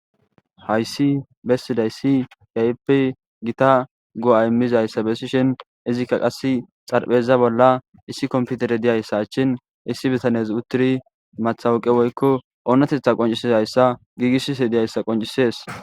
Hayssi bessizays kehippe giita go'a immiazaysa bessishin izzika qassi xaraphpheza bolla issi komppiterey dizayssa achen issi bittanezi uttidi mattawaqqa woykko oonatetha qonccisizasa giggisishe diizayssa qonccises.